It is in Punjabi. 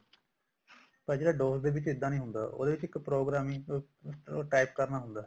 ਪਰ ਜਿਹੜਾ DOS ਵਿੱਚ ਇੱਦਾਂ ਨੀ ਹੁੰਦਾ ਉਹਦੇ ਵਿੱਚ ਇੱਕ programming ਉਹ type ਕਰਨਾ ਹੁੰਦਾ